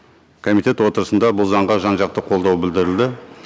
комитет отырысында бұл заңға жан жақты қолдау білдірілді